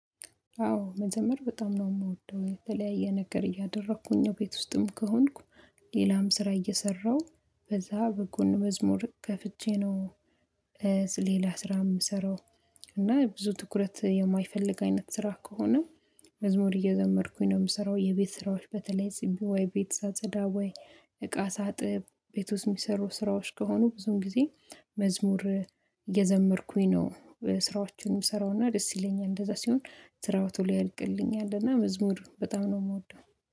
አዎ መዘመር በጣም ነው የምወደው የተለያየ ነገር እያደረኩኝ ነው ቤት ውስጥም ከሆንኩ ሌላም ስራ እየሰራሁ በዛ በጎን መዝሙር ከፍቼ ነው። ሌላ ስራ የምሰራው እና ብዙ ትኩረት የማይፈልግ አይነት ስራ ከሆነ። መዝሙር እየዘመርኩኝ ነው የምሰራው የቤት ስራዎች በተለይ ዝም ብዬ ቤት ሳጸዳ ወይ እቃ ሳጥብ ቤት ውስጥ የሚሰሩ ስራዎች ከሆኑ ብዙም ጊዜ መዝሙር እየዘመርኩኝ ነው። ስራዎቹን ስሰራውና ደስ ይለኛል እንደዛ ሲሆን ስራው ቶሎ ያልቅልኛል እና መዝሙር በጣም ነው የምወደው